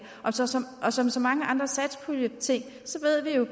og som så mange andre satspuljeting ved vi jo